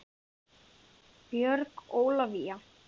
Björg Ólavía.